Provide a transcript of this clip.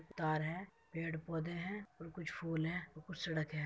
तार है पेड़ पौधे हैं और कुछ फूल है ओ कुछ सड़क हैं।